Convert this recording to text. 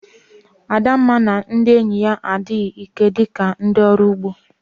Adamma na ndị enyi ya adịghị ike dị ka ndị ọrụ ugbo